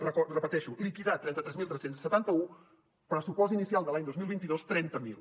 ho repeteixo liquidat trenta tres mil tres cents i setanta un pressupost inicial de l’any dos mil vint dos trenta miler